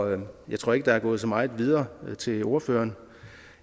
jeg tror ikke der er gået så meget videre til ordføreren